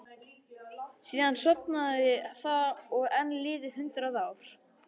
Síðan sofnaði það og enn liðu hundrað ár.